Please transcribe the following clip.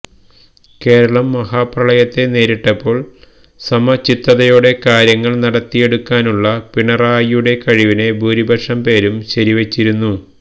കേരളം മഹാപ്രളയത്തെ നേരിട്ടപ്പോൾ സമചിത്തതയോടെ കാര്യങ്ങൾ നടത്തിയെടുക്കാനുള്ള പിണറായിയുടെ കഴിവിനെ ഭൂരിപക്ഷം പേരും ശരിവച്ചിരുന്നു